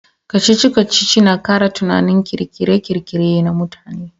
Kacici-kacici na kara tunanin kirkire-kirkire na mutane.